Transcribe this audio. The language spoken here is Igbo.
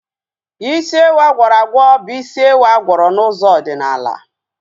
Isi ewu agwọrọ agwọ bụ isi ewu agwọrọ n'ụzọ ọdịnala